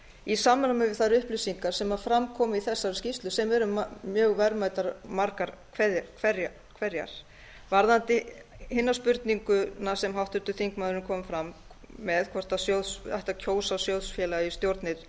í samræmi við þær upplýsingar sem fram komu í þessari skýrslu sem við eru mjög verðmætar margar hverjar varðandi hina spurninguna sem háttvirtur þingmaður kom fram með hvort ætti að kjósa sjóðsfélaga í stjórnir